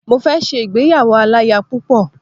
Mo fẹ ṣe ìgbéyàwó aláya púpọ̀